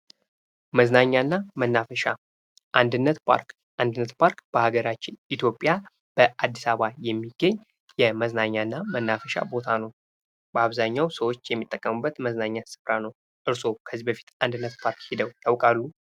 መዝናኛና መናፈሻ አንድነት ፓርክ አንድነት ፓርክ በሀገራችን ኢትዮጵያ በአድስ አበባ የሚገኝ የመዝናኛና መናፈሻ ቦታ ነው። በአብዛኛው ሰዎች የሚጠቀሙበት መዝናኛ ስፍራ ነው። እርስዎ ከዚህ በፊት የባህላዊ አንድነት ፓርክ ሂደው ያውቃሉ?